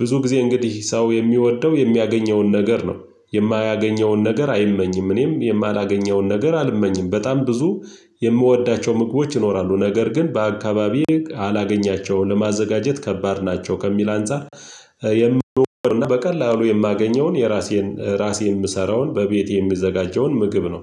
ብዙ ጊዜ እንግዲህ ሰው የሚወደው የሚያገኘውን ነገር ነው የማያገኘውን ነገር አይመኝም። እኔም የማላገኘውን ነገር አልመኝም። በጣም ብዙ የምወዳቸው ምግቦች ይኖራሉ። ነገር ግን በአካባቢዬ አላገኛቸውም። ለማዘጋጀት ከባድ ናቸው ከሚል አንፃር የምወደው እና በቀላሉ የማገኘውን የራሴን ራሴን የምሰራውን በቤቴ የሚዘጋጀውን ምግብ ነው።